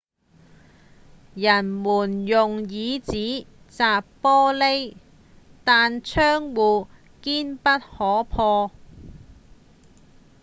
人們用椅子砸玻璃但窗戶堅不可破